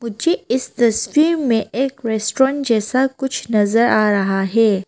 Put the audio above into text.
मुझे इस तस्वीर में एक रेस्टोरेंट जैसा कुछ नजर आ रहा है।